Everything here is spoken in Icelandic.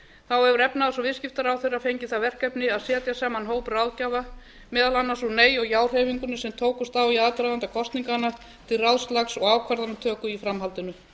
þá hefur efnahags og viðskiptaráðherra fengið það verkefni að setja saman hóp ráðgjafa meðal annars úr nei og já hreyfingunni sem tókust á í aðdraganda kosninganna til ráðslags og ákvarðanatöku í framhaldinu